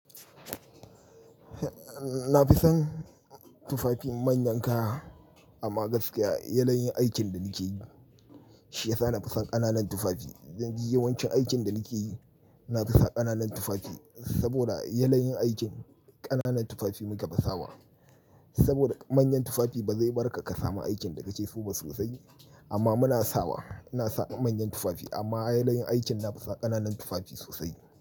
Na fi son tufafi manyan kaya amma gaskiya yanayin aikin da nike yi shi ya sa na fi son ƙananan tufafi. Yawancin aikin da nike yi na fi sa ƙananan tufafi saboda yanayin aikin ƙananan tufafi muka fi sawa. Saboda manyan tufafi ba zai barka ka samu aikin da kake so ba sosai amma muna sawa. Ina sa manyan tufafi amma yanayin aikin na fi sa ƙananan tufafi sosai.